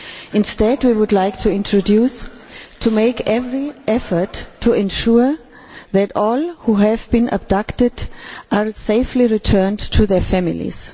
Instead we would like to introduce to make every effort to ensure that all who have been abducted are safety returned to their families'.